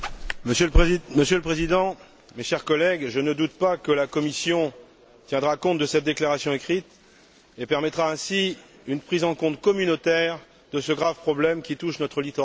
Monsieur le Président, mes chers collègues, je ne doute pas que la Commission tiendra compte de cette déclaration écrite et permettra ainsi une prise en compte communautaire de ce grave problème qui touche notre littoral européen.